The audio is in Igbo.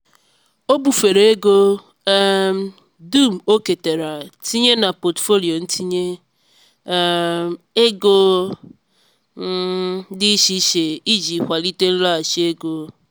o bufere ego um dum o ketara tinye na pọtụfoliyo ntinye um ego um dị iche iche iji kwalite nlọghachi ego.